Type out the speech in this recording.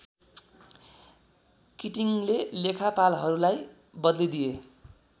किटिङले लेखापालहरूलाई बदलिदिए